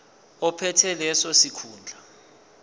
ophethe leso sikhundla